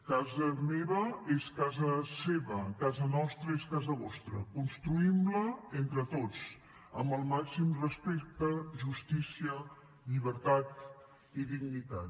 casa meva és casa seva casa nostra és casa vostra construïm la entre tots amb el màxim de respecte justícia llibertat i dignitat